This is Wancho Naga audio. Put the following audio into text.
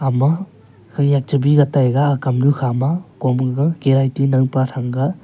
ema khanyak che bi ka taega ha kamnu khama kom aga kereiti naopa thangga.